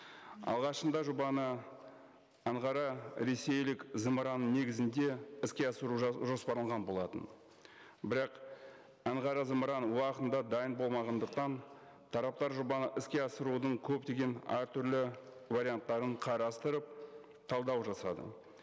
алғашында жобаны анғара ресейлік зымыраны негізінде іске асыру жоспарланған болатын бірақ анғара зымыраны уақытында дайын болмағандықтан тараптар жобаны іске асырудың көптеген әртүрлі варианттарын қарастырып талдау жасады